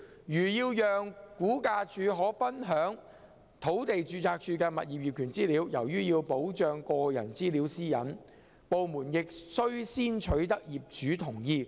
如要讓估價署可分享土地註冊處的物業業權資料，由於要保障個人資料私隱，部門亦須先取得業主同意。